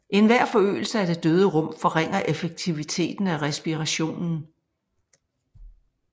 Enhver forøgelse af det døde rum forringer effektiviteten af respirationen